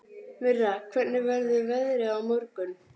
Myrra, hvernig verður veðrið á morgun?